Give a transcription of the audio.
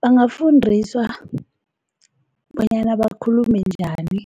Bangafundiswa bonyana bakhulume njani